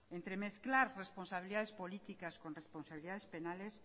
entremezclar responsabilidades políticas con responsabilidades penales